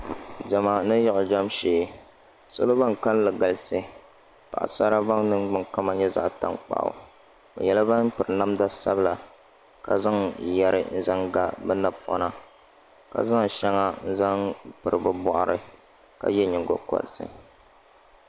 Diɛma ni yiɣijam shee salo ban kalinli galisi paɣisara ban niŋgbuŋ kama nyɛ zaɣ' taŋkpaɣu bɛ nyɛla ban piri namda sabila ka zaŋ yɛri n-zaŋ ga bɛ napɔna ka zaŋ shɛŋa n-zaŋ piri bɛ bɔɣiri ka ye nyiŋgokɔriti